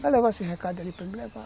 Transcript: Vai levar esse recado ali para mim levar.